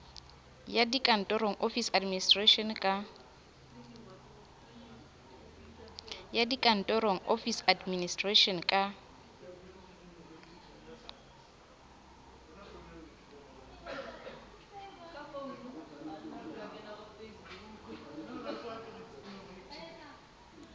ya dikantoro office administration ka